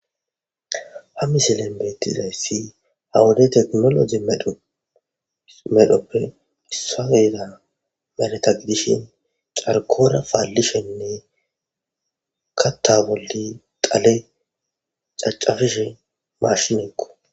Ha missilezan bettizayis ha wode tekinolojje meedhoppe issinoza be'ida.bollan dishe caarikora pallishe kaatha bolla dhale caccapishe bishinikko.